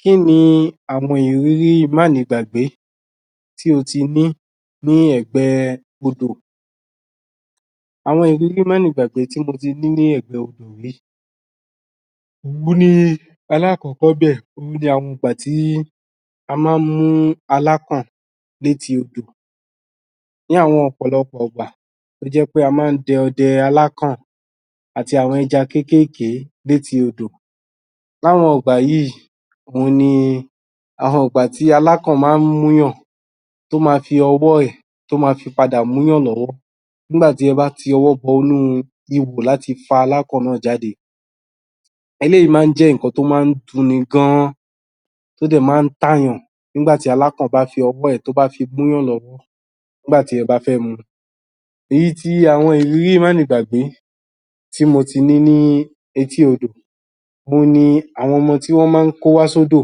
Kí ni àwọn ìrírí mánigbàgbé tí o ti ní ní ẹ̀gbẹ́ odò àwọn ìrírí mánigbàgbé tí mo ti ní ní ẹ̀gbẹ́ odò rí òun ni... alákọ̀ọ́kọ́ níbẹ̀ òun ni àwọn ìgbà tí a máa ń mú alákàn létí odò Ní àwọn ọ̀pọ̀lọpọ̀ ìgbà ló jẹ́ pé a máa ń dẹ ọdẹ alákàn àti àwọn ẹja kéékéèké létí odò láwọn ìgbà yìí òun ní àwọn ìgbà tí alákàn máa ń mú èèyàn tó máa fi ọwọ́ ẹ̀, tó máa fi padà mú elèyàn lọ́wọ́ nígbà tí ẹ bá ti ọwọ́ bọinú ihò láti fa alákàn náà jáde eléyiìí máa ń jẹ́ nǹkan tó máa ń dun ni gan an tó dẹ̀ máa ń tà èèyàn nígbà tí alákàn bá ffi ọwọ́ ẹ̀, tó bá fi gún èèyàn lọ́wọ́ nígbà tí ẹ bá fẹ́ mu èyí ti àwọn ìrírí mánigbàgbé tí mo ti ní ní etí odò òun ni àwọn ọmọ tí wọ́n máa ń kó wá sódò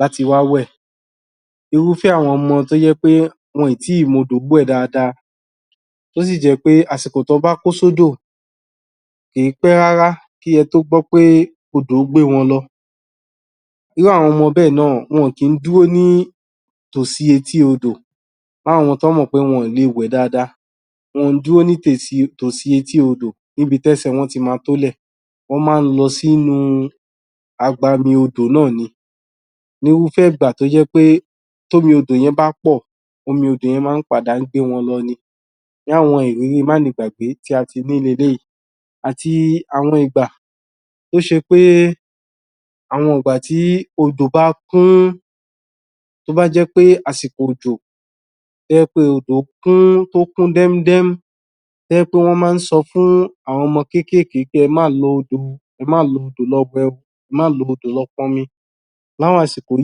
láti wá wẹ̀ irúfẹ́ àwọn ọmọ tí wọn ò tí ì mọ odò wẹ̀ dáadáa tó sì jẹ́ pé àsìkò tí wọ́n bá kó sódò kì í pẹ́ rárá kí ẹ tó gbọ́ pé odò gbé wọn lọ irú àwọn ọmọ bẹ́ẹ̀ náà kì í dúró sí tòsí etí odò láwọn ọmọ tí wọ́n mọ̀ pé wọn ò lè wẹ̀ dáadáa, wọn kì í dúró sí tòsí etí odò níbi tí ẹsẹ̀ wọn ti máa tó lẹ̀ wọ́n máa ń lọ sí inú agbami odò náà ni irúfẹ́ ìgbà tí omi odò yẹn bá pọ̀, omi odò yẹn máa ń padà gbé wọn lọ ni láwọn ìrírí mánigbàgbé tí a ti rí leléyìí àti àwọn ìgbà tó ṣe pé Àwọn ìgbà tí odò bá kún tó bá ṣe pé àsìkò òjò tó jẹ́ pé odò kún tó kún dẹ́múdẹ́mú tó jẹ́ pé wọ́n máa ń sọ fún àwọn ọmọ kékéèké wí pé ẹ má lọ odò o,ẹ má lọ odò lọ wẹ̀ o, ẹ má lọ odò lọ pọnmi láwọn àsìkò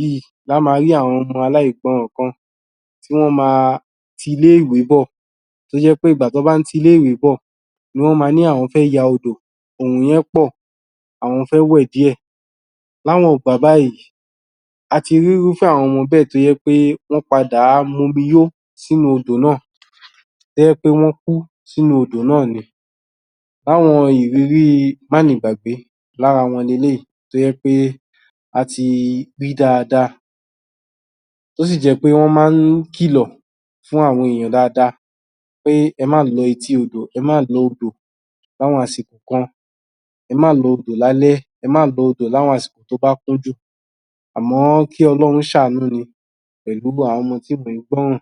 yìí la máa rí àwọn ọmọ aláìgbọràn kan tí wọ́n á máa ti ilé-ìwé bọ̀, tó jẹ́ pé ìgbà tí wọ́n bá ń ti ilé-ìwé bọ̀ ni wọ́n máa ní àwọn fẹ́ ya odò, òòrùn yẹn pọ̀, àwọn fẹ́ wẹ̀ díẹ̀ láwọn ìgbà báyìí, a ti rí irúfẹ́ àwọn ọmọ bẹ́ẹ̀ tó́ jẹ́ pé wọ́n padá̀ momi yó sínú odò náà tó jẹ́ pé wọ́n kú sínú odò náà ni lára àwọn ìrírií mánigbàgbé, lára wọn leléyìí tó jẹ́ pé a ti rí dáadáa pé ẹ má lọ etí odò, ẹ má lọ odò láwọn àsìkò kan ẹ má lọ odò lálẹ́, ẹ má lọ odò láwọn àsìkò tó bá kún jù, àmọ́ kí Ọlọ́run ṣàánú ni pẹ̀lú gbogbo àwọn ọmọ tí kò ń gbọ́ràn